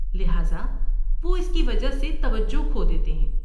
لہٰذا وہ اس کی وجہ سے توجہ کھو دیتے ہیں۔